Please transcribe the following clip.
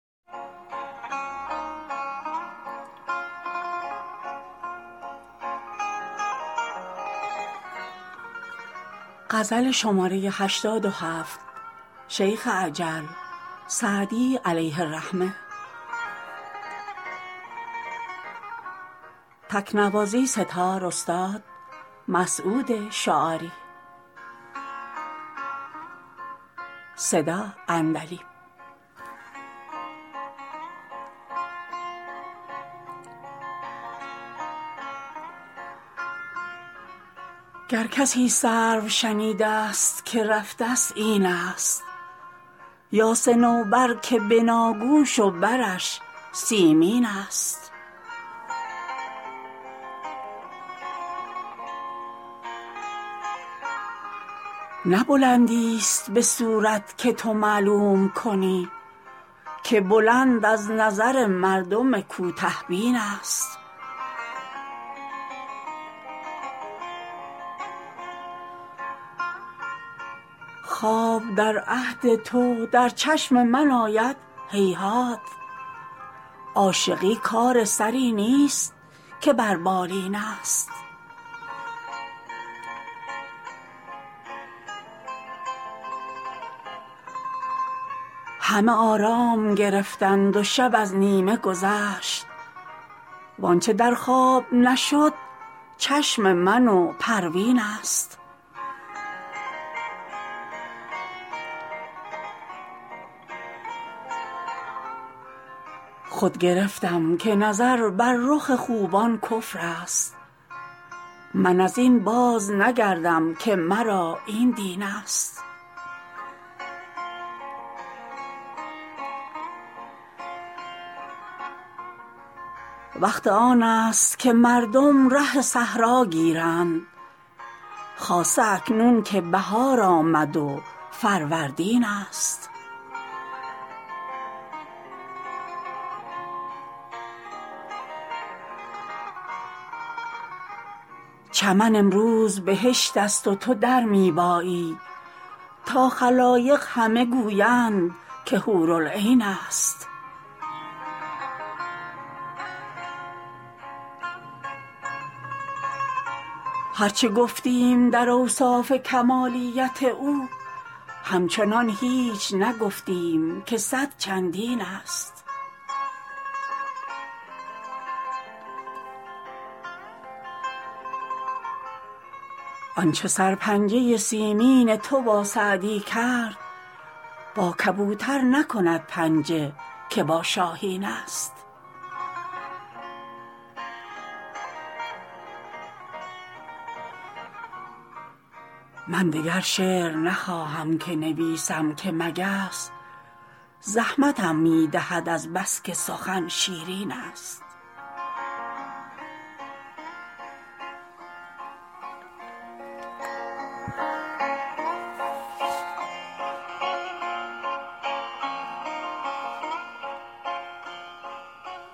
گر کسی سرو شنیده ست که رفته ست این است یا صنوبر که بناگوش و برش سیمین است نه بلندیست به صورت که تو معلوم کنی که بلند از نظر مردم کوته بین است خواب در عهد تو در چشم من آید هیهات عاشقی کار سری نیست که بر بالین است همه آرام گرفتند و شب از نیمه گذشت وآنچه در خواب نشد چشم من و پروین است خود گرفتم که نظر بر رخ خوبان کفر است من از این بازنگردم که مرا این دین است وقت آن است که مردم ره صحرا گیرند خاصه اکنون که بهار آمد و فروردین است چمن امروز بهشت است و تو در می بایی تا خلایق همه گویند که حورالعین است هر چه گفتیم در اوصاف کمالیت او همچنان هیچ نگفتیم که صد چندین است آنچه سرپنجه سیمین تو با سعدی کرد با کبوتر نکند پنجه که با شاهین است من دگر شعر نخواهم که نویسم که مگس زحمتم می دهد از بس که سخن شیرین است